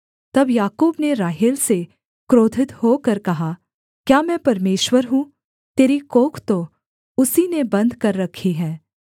तब याकूब ने राहेल से क्रोधित होकर कहा क्या मैं परमेश्वर हूँ तेरी कोख तो उसी ने बन्द कर रखी है